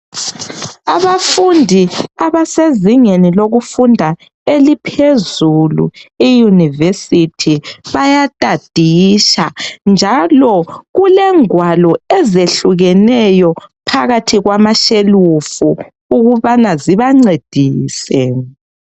Abafundi abasezingeni lokufunda eliphezilu iUniversity bayatadisha njalo kulengwalo ezehlukeneyo phakathi kwamashelufu ukubana zibancedise.